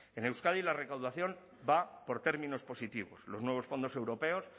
en euskadi la recaudación va por términos positivos los nuevos fondos europeos